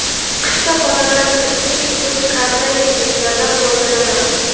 Qishda xonalarni isitish uchun karnayli pechlardan foydalanamiz.